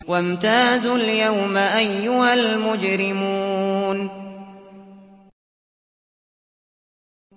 وَامْتَازُوا الْيَوْمَ أَيُّهَا الْمُجْرِمُونَ